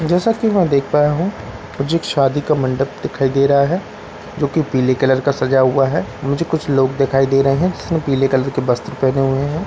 जैसा की मैं देख पाया हूँ मुझे एक शादी का मंडप दिखाई दे रहा है जो की पीले कलर का सजाया हुआ है मुझे कुछ लोग दिखाई दे रहे है जिसने पीले कलर के वस्त्र पहने हुए है ।